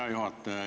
Hea juhataja!